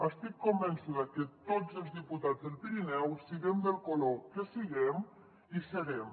estic convençuda que tots els diputats del pirineu siguem del color que siguem hi serem